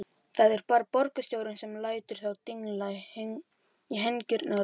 Það er bara borgarstjórnin sem lætur þá dingla í hengingarólinni.